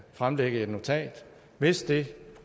fremlægge et notat hvis det